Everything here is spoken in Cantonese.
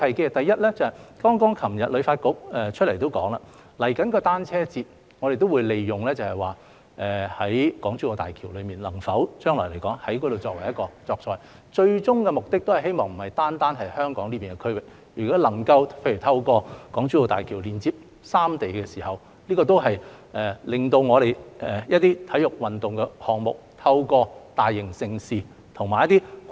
旅發局昨天剛剛表示，關於即將舉行的香港單車節，我們也會利用港珠澳大橋，看看將來能否在那裏作賽，最終目的不只是在香港這個區域舉行，如果能夠透過港珠澳大橋連接三地，也可令我們一些體育運動項目，透過大型盛事和一些跨境......